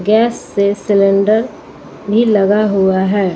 Gas से cylinder भी लगा हुआ है।